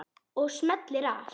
Og smellir af.